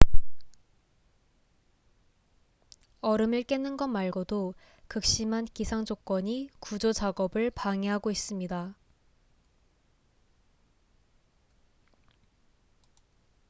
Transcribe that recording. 얼음을 깨는 것 말고도 극심한 기상 조건이 구조 작업을 방해하고 있습니다